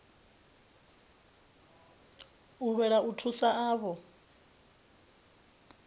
u lwela u thusa avho